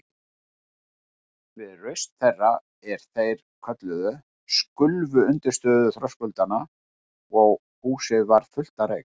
Við raust þeirra, er þeir kölluðu, skulfu undirstöður þröskuldanna og húsið varð fullt af reyk.